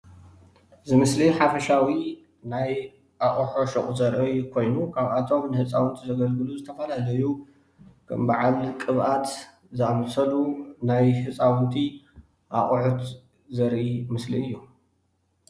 እዚ ምስሊ ሓፈሻዊ ናይ ኣቁሑ ሹቅ ዘርኢ ኮይኑ ካብኣቶም ንህፃውንቲ ዘገልግሉ ዝተፍላለዩ ከም በዓል ቅብአት ዝአመሰሉ ናይ ህፃውንቲ አቕሑት ዘርኢ ምስሊ እዩ።